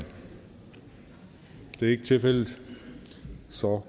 det er ikke tilfældet så